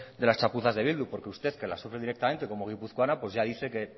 de las chapuzas de bildu porque usted que las sufre directamente como guipuzcoana ya dice que